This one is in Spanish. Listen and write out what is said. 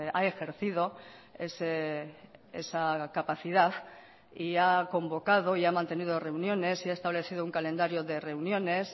ha ejercido esa capacidad y ha convocado y ha mantenido reuniones y ha establecido un calendario de reuniones